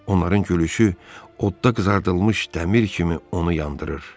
Onların gülüşü odda qızardılmış dəmir kimi onu yandırır.